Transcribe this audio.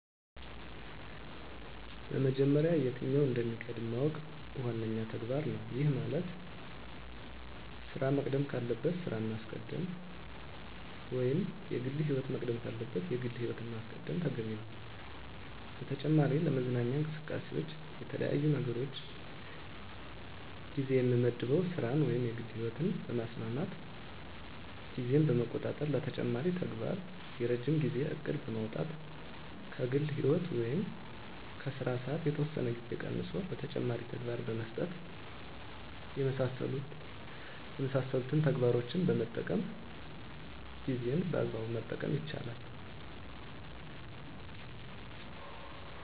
በመጀመሪያ የትኛው እንደሚቀድም ማወቅ ዋነኛው ተግባር ነው። ይህ ማለት ስራ መቅደም ካለበት ስራን ማስቀደም ወይም የግል ህይወት መቅደም ካለበት የግል ህይወትን ማስቀደም ተገቢ ነው። በተጨማሪ ለመዝናኛ እንቅስቃሴዎች ለተለያዩ ነገሮች ጊዜ የምመድበው ስራን ወይም የግል ህይወትን በማስማማት ጊዜን በመቆጣጠር ለተጨማሪ ተግባር የረጅም ጊዜ እቅድ በማውጣት ከግል ህይወት ወይም ከስራ ሰዓት የተወሰነ ጊዜ ቀንሶ ለተጨማሪ ተግባር በመስጠት የመሳሰሉትን ተግባሮችን በመጠቀም ጊዜን በአግባቡ መጠቀም ይቻላል።